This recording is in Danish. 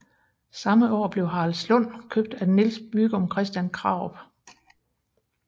Samme år blev Haraldslund købt af Niels Bygom Christian Krarup